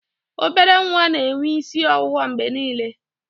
obere nwa na-enwe isi ọwụwa mgbe niile